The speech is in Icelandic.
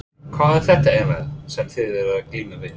Hvað er þetta eiginlega sem þið eruð að glíma við?